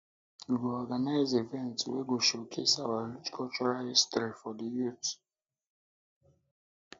um we go organize events um wey go showcase our um rich cultural history for the youth